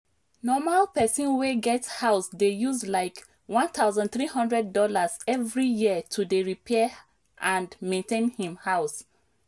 normal person wey get house dey use likeone thousand three hundred dollarsevery year to dey repair and maintain him house